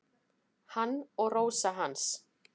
Hann og Rósa hans.